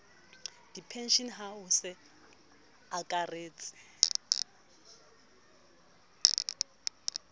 dipenshene a ho se akaretse